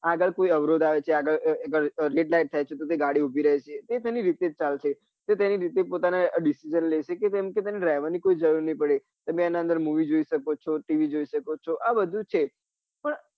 આગળ કોઈ અવરોધ આગળ red light થાય છે તો કે ગાડી ઉભી રહે છે તે તેની રીતે જ ચાલશે તે તેના રીતે જ પોતાના decision લઇ સકે તો કેમ કે તેને driver કોઈ જરૂર ની પડે તમે એના અંદર movie જોઈ શકો છો tv જોઈ શકો છો આ બધું જ છે